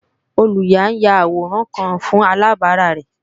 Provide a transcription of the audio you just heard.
Olùyà ń ya àwòrán kan fún alàbárà rẹ̀